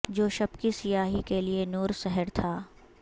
جو شب کی سیاہی کے لیے نور سحر تھا